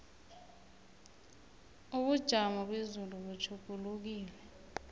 ubujamo bezulu butjhugulukile